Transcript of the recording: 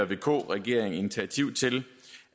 vk regering initiativ til